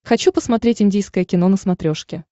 хочу посмотреть индийское кино на смотрешке